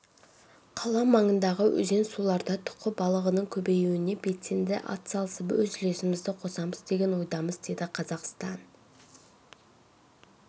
қала маңындағы өзен-суларда тұқы балығының көбеюіне белсенді атсалысып өз үлесімізді қосамыз деген ойдамыз деді қазақстан